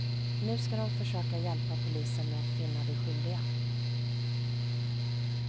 Nu ska de försöka hjälpa polisen med att finna de skyldiga.